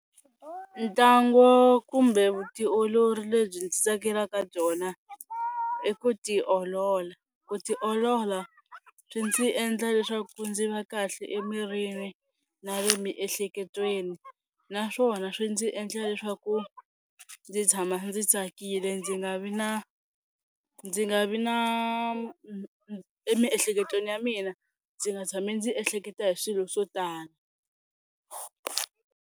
Ntlangu kumbe vutiolori lebyi ndzi tsakelaka byona i ku ti olola, ku ti olola swi ndzi endla leswaku ndzi va kahle emirini na le miehleketweni naswona swi ndzi endla leswaku ndzi tshama ndzi tsakile ndzi nga vi na ndzi nga vi na emiehleketweni ya mina ndzi nga tshami ndzi ehleketa hi swilo swo tala.